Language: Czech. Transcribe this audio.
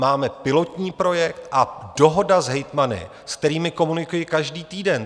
Máme pilotní projekt a dohodu s hejtmany, se kterými komunikuji každý týden.